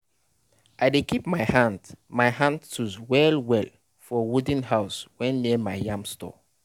i dey keep my hand my hand tools well well for wooden house wey near my yam store